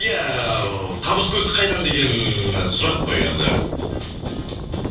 иә табыс көзі қайдан деген сұрақ қой енді